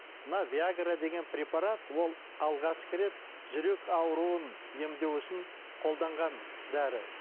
мына виагра деген препарат ол алғашқы рет жүрек ауруын емдеу үшін қолданған дәрі